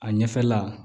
A ɲɛfɛla